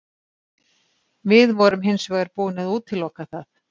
Við vorum hins vegar búin að útiloka það.